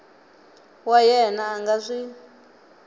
wa yena a nga swi